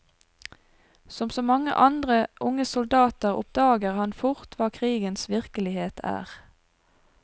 Som så mange andre unge soldater oppdager han fort hva krigens virkelighet er.